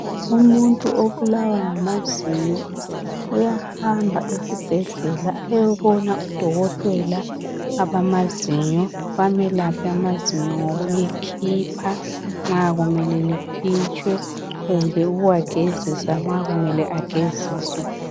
Umuntu obulawa ngamazinyo uyahamba esibhedlela eyebona odokotela bamazinyo, bamelaphe ngokulikhipha noma ngokuligezisa.